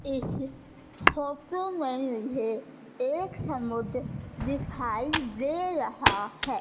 इस फोटो में मुझे एक समोते दिखाई दे रहा है।